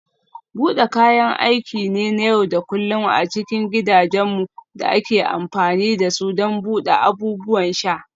Bude kayan aiki ne na yau da kullun a cikin gidajenmu da ake amfani da su don buɗe abubuwan sha.